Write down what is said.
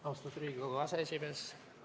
Austatud Riigikogu aseesimees!